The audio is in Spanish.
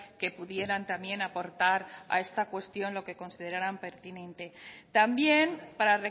que pudieran también aportar a esta cuestión lo que considerarán pertinente también para